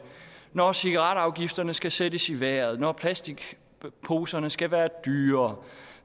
når cigaretafgifterne skal sættes i vejret når plastikposerne skal være dyrere